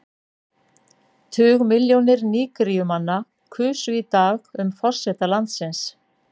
Tugmilljónir Nígeríumanna kusu í dag um forseta landsins.